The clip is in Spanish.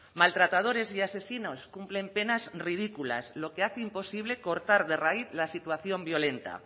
maltratadores y asesinos cumplen penas ridículas lo que hace imposible cortar de raíz la situación violenta